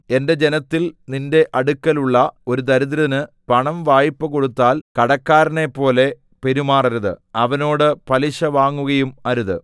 എന്റെ ജനത്തിൽ നിന്റെ അടുക്കലുള്ള ഒരു ദരിദ്രന് പണം വായ്പ കൊടുത്താൽ കടക്കാരനെപ്പോലെ പെരുമാറരുത് അവനോട് പലിശ വാങ്ങുകയും അരുത്